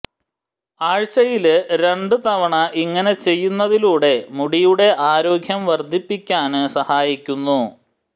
ആഴ്ചയില് രണ്ട് തവണ ഇങ്ങനെ ചെയ്യുന്നതിലൂടെ മുടിയുടെ ആരോഗ്യം വര്ദ്ധിപ്പിക്കാന് സഹായിക്കുന്നു